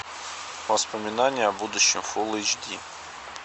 воспоминания о будущем фулл эйч ди